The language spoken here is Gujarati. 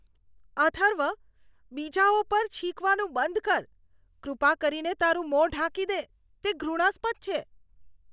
અથર્વ બીજાઓ પર છીંકવાનું બંધ કર. કૃપા કરીને તારું મોં ઢાંકી દે. તે ઘૃણાસ્પદ છે.